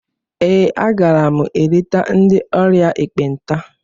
Ee, a gara m eleta ndị ọrịa ekpenta.